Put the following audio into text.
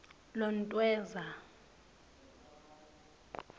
lontweza